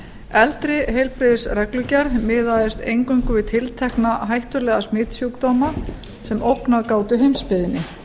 eldri heilbrigðisreglugerð miðaðist eingöngu við tiltekna hættulega smitsjúkdóma sem ógnað gátu heimsbyggðinni